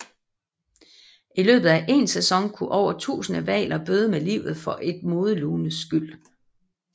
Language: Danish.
I løbet af én sæson kunne over tusinde hvaler bøde med livet for et modelunes skyld